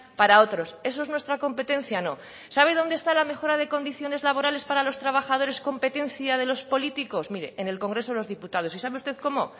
para otros eso es nuestra competencia no sabe dónde está la mejora de condiciones laborales para los trabajadores competencia de los políticos mire en el congreso de los diputados y sabe usted cómo